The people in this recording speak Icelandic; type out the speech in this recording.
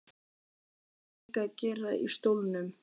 Hvað voru þau líka að gera í stólnum?